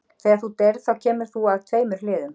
Þegar þú deyrð þá kemur þú að tveimur hliðum.